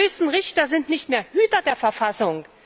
Die höchsten Richter sind nicht mehr Hüter der Verfassung.